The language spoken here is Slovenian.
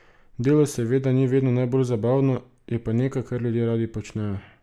Delo seveda ni vedno najbolj zabavno, je pa nekaj, kar ljudje radi počnejo.